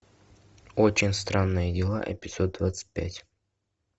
очень странные дела эпизод двадцать пять